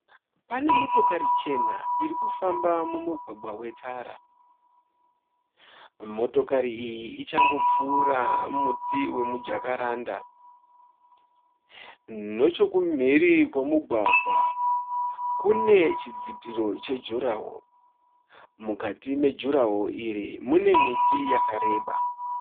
Pane motokari chena iri kufamba mumugwagwa wetara. Motokari iyi ichangopfuura muti wemujakaranda. Nochokumhiri kwemugwagwa kune chidzitiro chejurahoro. Mukati mejurahoro iri mune miti yakareba.